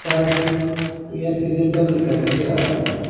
सरक ये एक्सीडेंटल दिखाई दे रहा है।